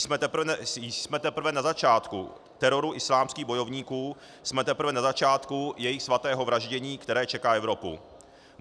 Jsme teprve na začátku teroru islámských bojovníků, jsme teprve na začátku jejich svatého vraždění, které čeká Evropu.